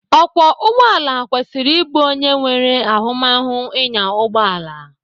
Ọkwọ ụgbọala kwesịrị ịbụ onye nwere ahụmahụ ịnya ụgbọala.